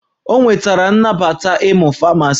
O nwetara nnabata ịmụ Famasi